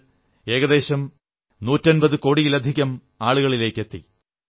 അത് ഏകദേശം നൂറ്റമ്പതു കോടിയിലധികം ആളുകളിലേക്കെത്തി